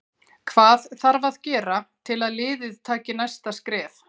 Hvað þarf að gera til að liðið taki næsta skref?